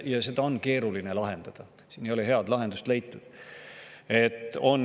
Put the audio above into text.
Ja seda on keeruline lahendada, siin ei ole head lahendust sellele leitud.